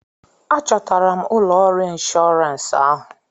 A chọtara m ụlọ ọrụ inshọrans ahụ.